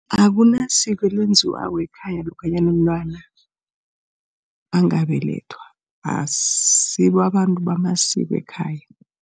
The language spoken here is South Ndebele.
Akunasiko elenziwako ekhaya lokhanyana umntwana angabelethwa asisibo abantu bamasiko ekhaya.